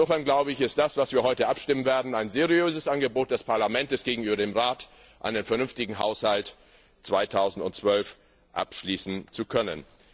Insofern ist das, über das wir heute abstimmen werden, ein seriöses Angebot des Parlaments gegenüber dem Rat, um einen vernünftigen Haushalt 2012 abschließen zu können.